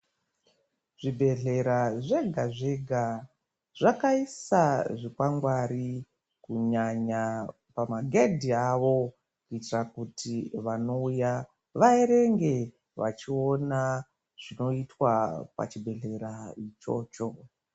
Zvibhedhlera zvega zvega zvakaisa zvikwangwari kunyanya pamagedhi avo kuitira kuti wanouya waerenge wachiona zvinoitwa pachibhedhlera ichocho.